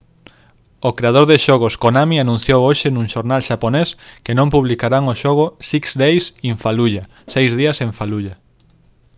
o creador de xogos konami anunciou hoxe nun xornal xaponés que non publicarán o xogo six days in fallujah seis días en fallujah